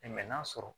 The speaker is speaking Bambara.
n'a sɔrɔ